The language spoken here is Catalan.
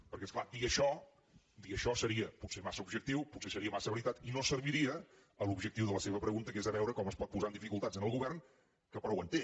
perquè és clar dir això seria potser massa objectiu potser seria massa veritat i no serviria l’objectiu de la seva pregunta que és veure com es pot posar en dificultats el govern que prou en té